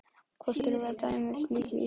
Hvort við erum til dæmis lík í útliti.